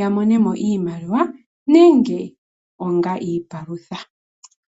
ya mone mo iimaliwa nenge onga iipalutha.